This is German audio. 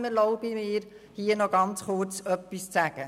Trotzdem erlaube ich mir, an dieser Stelle ganz kurz etwas zu sagen.